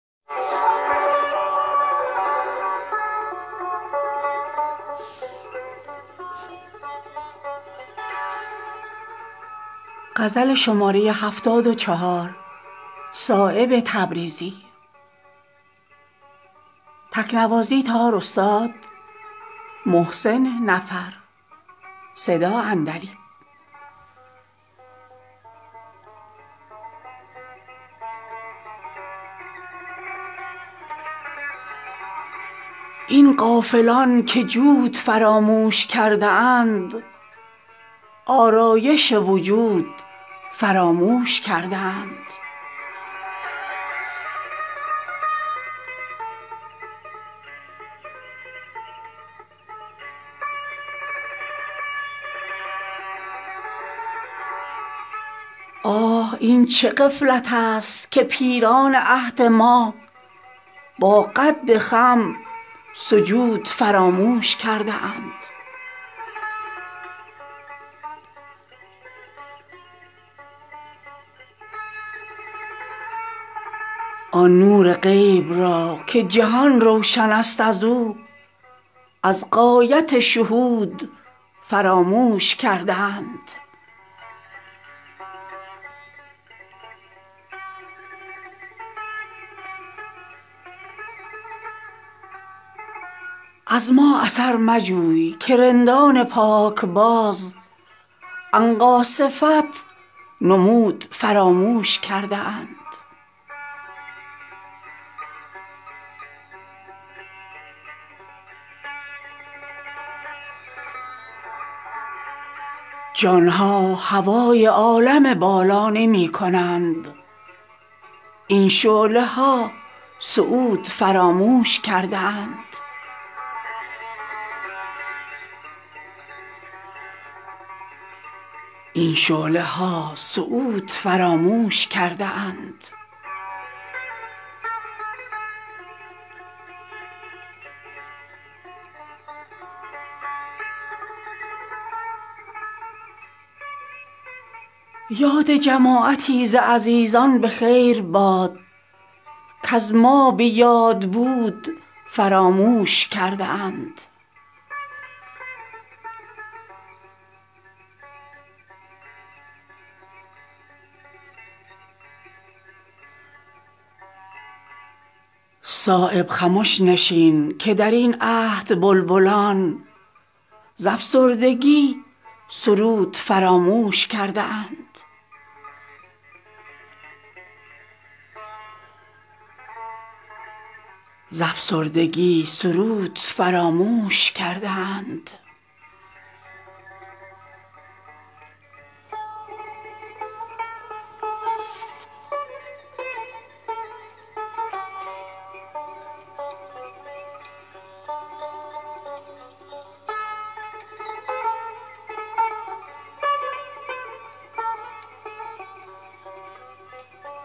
این غافلان که جود فراموش کرده اند آرایش وجود فراموش کرده اند آه این چه غفلت است که پیران عهد ما باقد خم سجود فراموش کرده اند آن نور غیب را که جهان روشن است ازو از غایت شهود فراموش کرده اند از ما اثرمجوی که رندان پاکباز عنقا صفت نمود فراموش کرده اند جانها هوای عالم بالا نمی کنند این شعله هاصعود فراموش کرده اند آنها که کرده اند ز می توبه در بهار کیفیت وجود فراموش کرده اند یاد جماعتی ز عزیزان بخیر باد کز ما به یاد بود فراموش کرده اند دست از طمع بشوی که در روزگار ما مستان سخا وجود فراموش کرده اند بیمایگان زیان کسان را ز سود خویش از اشتیاق سود فراموش کرده اند جمعی که از کفاف زیادت طلب کنند آسانی وجود فراموش کرده اند آسوده اند در جگر سنگ چون شرار جمعی که از نمود فراموش کرده اند صایب خمش نشین که درین عهد بلبلان ز افسردگی سرود فراموش کرده اند